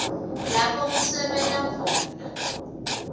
lapho kusebenta khona